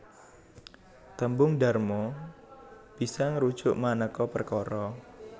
Tembung dharma bisa ngrujuk manéka perkara